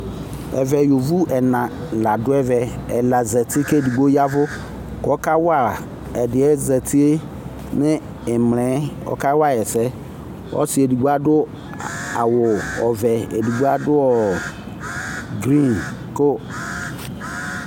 Ɛvɛ, yovo ɛna la dʋ ɛvɛ Ɛla zati, k'edigbo yavʋ k'ɔkawa ɛdi yɛ zati yɛ n'imla ɔka wayi ɛsɛ Ɔsi edigbo adʋ, awʋ ɔvɛ, edigbo adʋ ɔɔ green ko